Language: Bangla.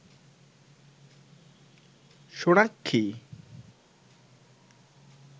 সোনাক্ষী